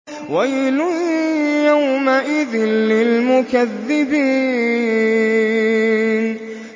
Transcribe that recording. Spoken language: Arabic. وَيْلٌ يَوْمَئِذٍ لِّلْمُكَذِّبِينَ